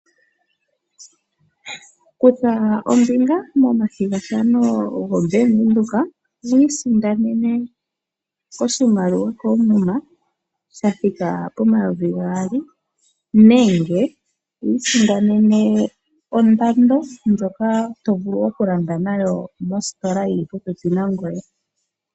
Kutha ombinga momathigathano gobank Windhoek wiisindanene oshimaliwa koomuma sha thika pomayovi gaali nenge wiisindanene ondando ndjoka to vulu okulanda nayo mositola yili popepi nangoye.